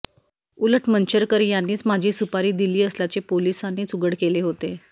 उलट मंचरकर यांनीच माझी सुपारी दिली असल्याचे पोलीसांनीच उघड केले होते